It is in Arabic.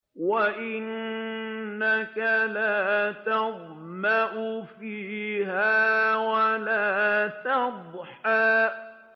وَأَنَّكَ لَا تَظْمَأُ فِيهَا وَلَا تَضْحَىٰ